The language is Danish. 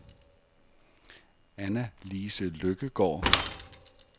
Anna-Lise Lykkegaard